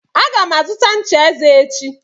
Aga m azụta ncha eze echi